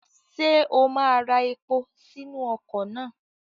Ṣé o máa ra epo sínú ọkọ̀ náà?